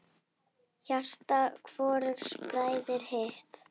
Hjarta hvorugs bræðir hitt.